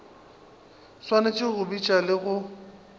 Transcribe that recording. swanetše go bitša le go